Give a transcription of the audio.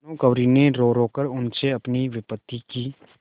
भानुकुँवरि ने रोरो कर उनसे अपनी विपत्ति की